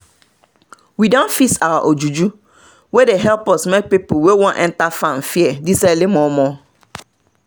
we don fix our ojuju wey dey help us make people wey want enter farm fear this early momo